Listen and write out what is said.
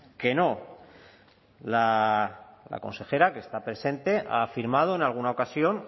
que no la consejera que está presente ha afirmado en alguna ocasión